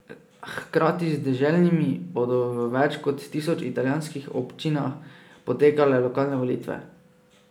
Hkrati z deželnimi bodo v več kot tisoč italijanskih občinah potekale lokalne volitve.